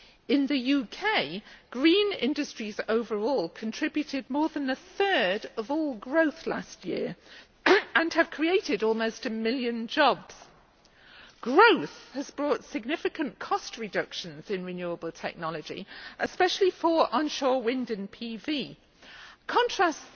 In the UK, green industries overall contributed more than a third of all growth last year and have created almost a million jobs. Growth has brought significant cost reductions in renewable technology, especially for onshore wind and PV Contrast